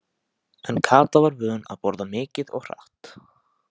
En Kata var vön að borða mikið og hratt.